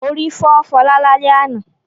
Orí fọ́ Fọlá lálẹ́ àná.